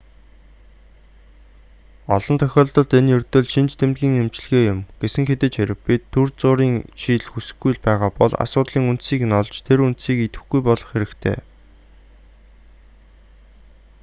олон тохиолдолд энэ ердөө л шинж тэмдгийн эмчилгээ юм гэсэн хэдий ч хэрэв бид түр зуурын шийдэл хүсэхгүй л байгаа бол асуудлын үндсийг нь олж тэр үндсийг идэвхгүй болгох хэрэгтэй